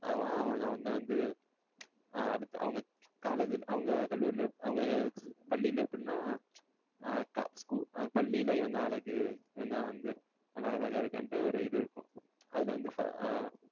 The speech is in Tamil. அவன் அவல வந்து வந்து அடுத்து அவங்க college ல கல்லூரில அவங்க பள்ளிளில எப்டின்னா அ school ல பள்ளியில இவன்தான் ஆழகு. இவன்தான் வந்து நல்லா அழகா இருக்கன்ட்டு ஒரு இது இருக்கும். அதுல வந்து first